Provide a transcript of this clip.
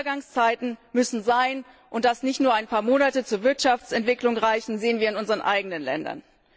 Übergangszeiten müssen sein, und dass lediglich ein paar Monate zur Wirtschaftsentwicklung nicht reichen, sehen wir in unseren eigenen Ländern.